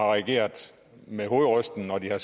har reageret med hovedrysten når de har